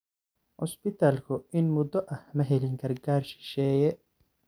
Cusbitaalku in muddo ah ma helin gargaar shisheeye.